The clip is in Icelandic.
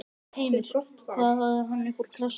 Heimir: Hvað hafði hann upp úr krafsinu?